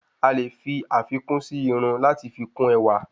Alè fi àfikún sí irun lati fi kún ẹwà